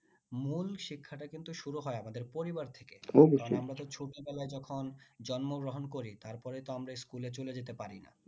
মূল শিক্ষাটা কিন্তু শুরু হয় আমাদের পরিবার থেকে ছোটো বেলায় যখন জন্ম গ্রহণ করি তার পরেই তো আমরা school এ চলে যেতে পারি না